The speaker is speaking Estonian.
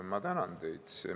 Ma tänan teid!